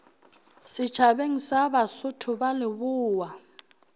setšhabeng sa basotho ba lebowa